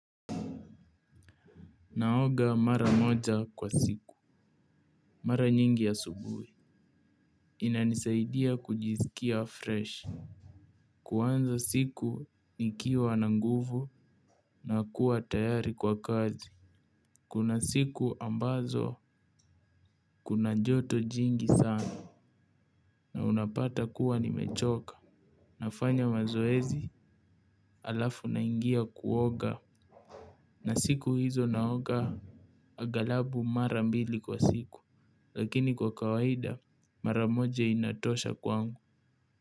Naoga mara moja kwa siku. Mara nyingi asubuhi. Inanisaidia kujiskia freshi. Kuanza siku nikiwa na nguvu na kuwa tayari kwa kazi. Kuna siku ambazo kuna joto jingi sana na unapata kuwa nimechoka. Nafanya mazoezi halafu naingia kuoga. Na siku hizo naoga agalabu mara mbili kwa siku. Lakini kwa kawaida maramoja inatosha kwangu.